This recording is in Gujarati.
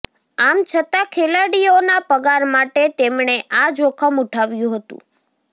આમ છતાં ખેલાડીઓના પગાર માટે તેમણે આ જોખમ ઉઠાવ્યું હતુ